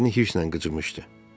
dişlərini hirslə qıcımışdı.